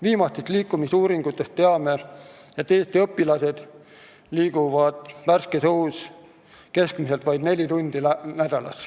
Viimastest liikumisuuringutest teame, et Eesti õpilased liiguvad värskes õhus keskmiselt vaid neli tundi nädalas.